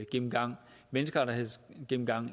gennemgang menneskerettighedsgennemgang